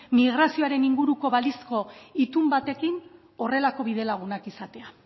migrazioaren inguruko balizko itun batekin honelako bidelagunak izatea